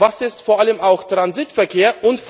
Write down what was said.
Was ist vor allem auch Transitverkehr?